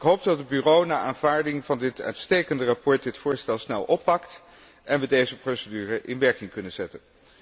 Ik hoop dat het Bureau na aanvaarding van dit uitstekende verslag het voorstel snel oppakt en we deze procedure in werking kunnen zetten.